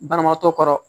Banabaatɔ kɔrɔ